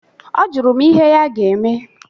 Ọjụrụ m ihe ya ga-eme.